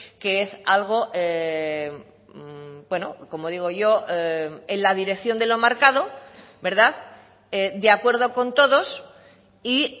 que es algo como digo yo en la dirección de lo marcado verdad de acuerdo con todos y